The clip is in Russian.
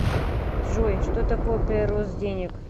джой что такое прирост денег